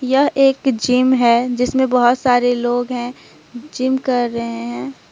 यह एक जिम है जिसमें बहोत सारे लोग है जिम कर रहे हैं।